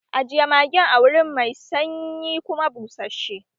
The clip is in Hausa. Ajiye magin a wuri mai sanyi kuma bushashe!